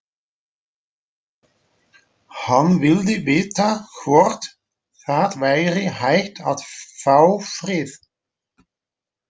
Hann vildi vita hvort það væri hægt að fá frið.